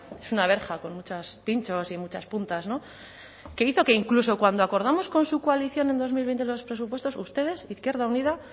es una verja con muchos pinchos y muchas puntas que hizo que incluso cuando acordamos con su coalición en dos mil veinte los presupuestos ustedes izquierda unida